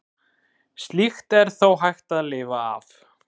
Slíkt er þó hægt að lifa af.